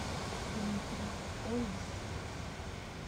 дмитрий ольский